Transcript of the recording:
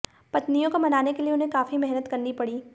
पत्नियों को मनाने के लिए उन्हें काफी मेहनत करनी पड़ी